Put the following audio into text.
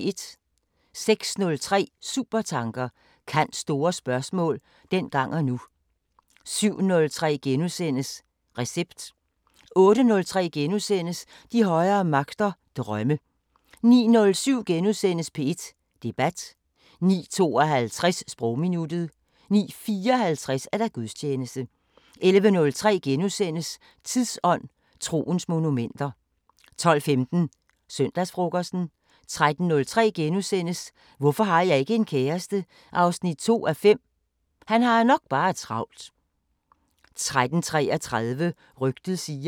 06:03: Supertanker: Kants store spørgsmål – dengang og nu 07:03: Recept * 08:03: De højere magter: Drømme * 09:07: P1 Debat * 09:52: Sprogminuttet 09:54: Gudstjeneste 11:03: Tidsånd: Troens monumenter * 12:15: Søndagsfrokosten 13:03: Hvorfor har jeg ikke en kæreste? 2:5 – han har nok bare travlt... * 13:33: Rygtet siger